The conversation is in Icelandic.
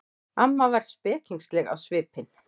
Amma var spekingsleg á svipinn.